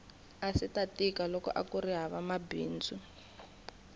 aswita tika loko akuri hava mabindzu